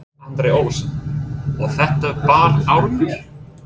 Andri Ólafsson: Og þetta bar árangur?